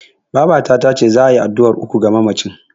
Babata tace za'a yi addu'ar uku ga mamacin.